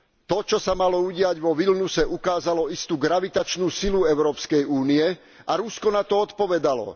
To, čo sa malo udiať vo Vilniuse, ukázalo istú gravitačnú silu Európskej únie a Rusko na to odpovedalo.